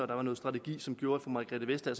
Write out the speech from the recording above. der var noget strategi som gjorde at fru margrethe vestager